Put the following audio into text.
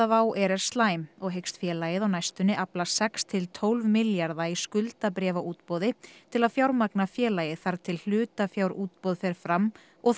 Wow air er slæm og hyggst félagið á næstunni afla sex til tólf milljarða króna í skuldabréfaútboði til að fjármagna félagið þar til hlutafjárútboð fer fram og